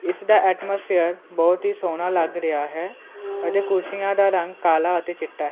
ਇਸ ਦਾ ਐਟਮੋਸਫੇਅਰ ਬਹੁਤ ਹੀ ਸੋਹਣਾ ਲੱਗ ਰਿਹਾ ਹੈ ਅਤੇ ਕੁਰਸੀਆਂ ਦਾ ਰੰਗ ਕਾਲਾ ਅਤੇ ਚਿੱਟਾ ਐ।